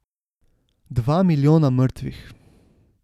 Dva milijona mrtvih.